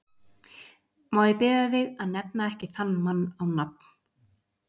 Má ég biðja þig að nefna ekki þann mann á nafn!